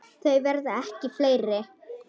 Þau verða ekki fleiri.